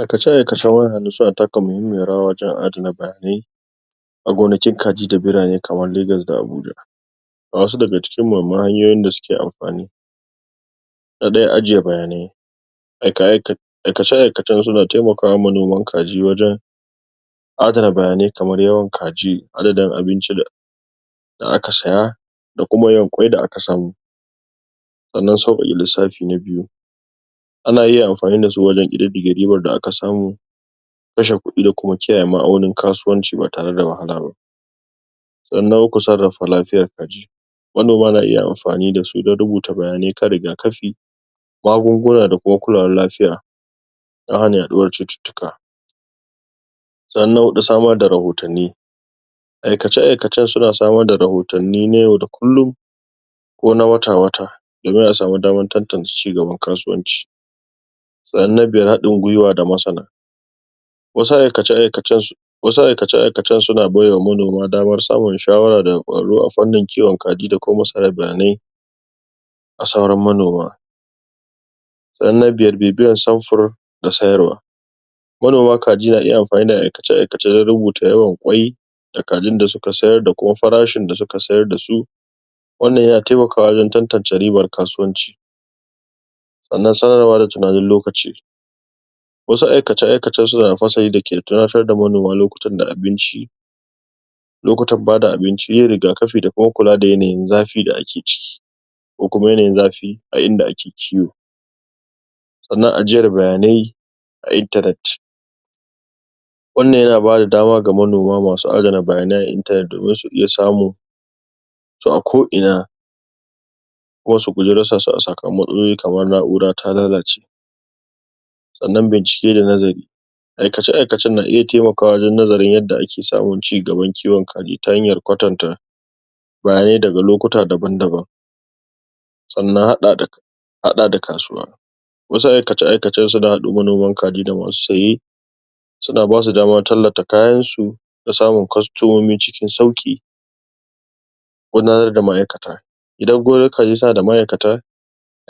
Aikace-aikacen wayar hannu suna taka muhimmiyar rawa wajen adana bayanai a gonakin kaji da birane kamar Lagos da Abuja. Ga wasu daga cikin muhimman hanyoyin da suke amfani; Na ɗaya: Ajiye Bayanai. Aikace-aikacen suna taiamakawa manoman kaji wajen adana bayanai kamar yawan kaji, adadin abinci da da aka saya, da kuma yawan ƙwai da aka samu. Sanan, Sauƙaƙa Lissafi na Biyu: Ana iyaamfani dasu ajen ƙididdige ribar da aka samu, kashe kuɗi da kuma kiyaye ma'aunin kasuwanci ba tare da wahala ba. Sannan na Uku: Sarrafa Lafiyar Kaji. Wannan ma ana iya amfani da su don rubuta bayanai kan rigakafi, magunguna da kuma kulawar lafiya, don hana yaɗuwar cututtuka. Sannan na Huɗu: Samar da Rahotanni. Aikace-aikacen suna samar da rahotanni na yau da kullum, ko na wata-wata, domin a sami damar tantance ci gaban kasuwanci. Sannan na Biyar: Wasu aikace-aikacen wasu aikace-aikacen suna baiwa manoma damar samun shawara daga ƙwararru a fannin kiwon kaji da kuma tsara bayanai ga sauran manoma Sannan na Biyar: Bibioyar (Sufuri?) da Sayarwa Manoma kaji na iya amfani da aikace-aikace na rubuta yawan ƙwai da kajin da suka sayar da kuma frashin da suka sayar da su, wannan yana taimakawa wajen tantance ribar kasuwanci. Sannan Sanarwa da Tunanin Lokaci. Wasu aikace-aikacen suna da fasari da ke tunatar da manoma lokutan da abinci, lokutan ba da abinci, yin rigakafi, da kuma kula da yanayin zafi da ake ciki, ko kuma yanayin zafi a inda ake ciwo. Sannan Ajiyar Bayanai a Internet. Wannan yana ba da dama ga manoma masu ajiye bayanai a internet domin su iya samun, su a ko'ina kuma su guji rasa su a sakamakon matsalolin ko na'ura ta lalace Sannan Bincike da Nazari. Aikace-aikacen na iya taimakawa wajen nazarin yadda ake samun ci gaban kiwon kaji ta hanyar kwatanta, bayanai daga lokuta daban-daban. Sannan Haɗa da Kasuwa. Wasu aikace-aikacen suna haɗa manoman kaji da masu saye, suna basu damar tallata kayansu, don samunkwastomomi cikin sauƙi. Gudanar da Ma'aikata. Idan gonarkaji suna da ma'aikata,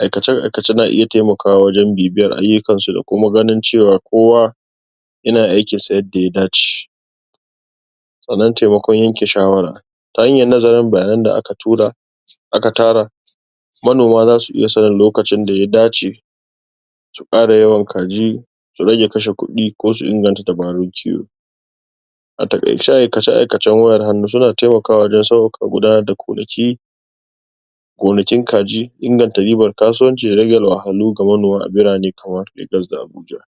aikace-aikacen na iya taimakawa wajen bibiyar ayyukansu da kuma ganin cewa kowa, yana aikinsa yadda ya dace. Sannan Taimakon Yanke Shawara. Ta hanyar nazarin bayanan da aka tura, aka tara, manoma za su iyasanin lokacin da ya dace, a ƙara yawan kaji, da rage kashe kuɗi ko su inganta dabarun kiwo. A taƙaice, aikace-ikacen wayar hannu suna taimakawa sauƙaƙa gudanar da gonaki, gonakin kaji, inganta ribar kasuwanci, da rage wahalhalu ga manoma a birane kamar Lagos da Abuja.